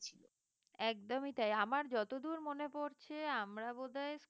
একদমই তাই আমার যতদূর মনে পড়ছে আমরা বোধহয়